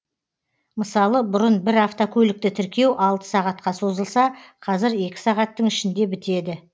мысалы бұрын бір автокөлікті тіркеу алты сағатқа созылса қазір екі сағаттың ішінде бітеді